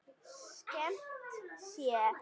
Þannig hófst okkar samtal.